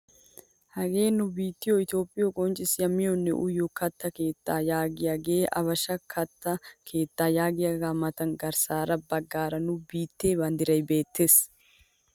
Hagee nu biittiyoo itoophphiyoo qonccisiyaa miyoonne uyiyoo katta keettaa yaagiyaagee habeshsha katta keettaa yaagiyaga matan garssa baggaara nu biittee banddiray beettees!